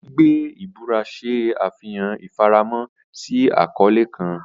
Gbigbe ibura ṣe afihan ifaramo si akọle kan.